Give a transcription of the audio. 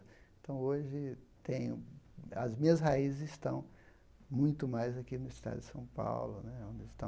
Então, hoje tenho, as minhas raízes estão muito mais aqui no estado de São Paulo né, onde estão